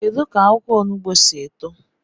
Kedu ka akwukwo onugbu si eto?